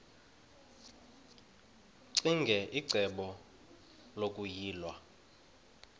ccinge icebo lokuyilwa